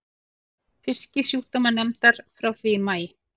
Fisksjúkdómanefndar frá því í maí.